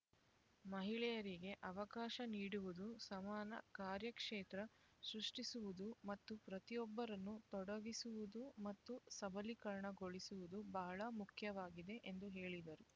ಮಹಿಳೆಯರಿಗೆ ಅವಕಾಶ ನೀಡುವುದು ಸಮಾನ ಕಾರ್ಯಕ್ಷೇತ್ರ ಸೃಷ್ಟಿಸುವುದು ಮತ್ತು ಪ್ರತಿಯೊಬ್ಬರನ್ನು ತೊಡಗಿಸುವುದು ಮತ್ತು ಸಬಲೀಕರಣಗೊಳಿಸುವುದು ಬಹಳ ಮುಖ್ಯವಾಗಿದೆ ಎಂದು ಹೇಳಿದರು